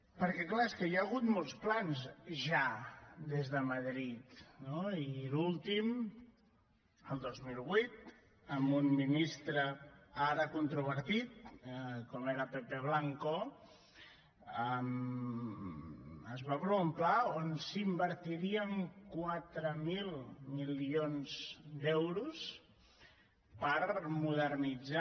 perquè clar és que hi ha hagut molts plans ja des de madrid no i l’últim el dos mil vuit amb un ministre ara controvertit com era pepe blanco es va aprovar un pla on s’invertirien quatre mil milions d’euros per modernitzar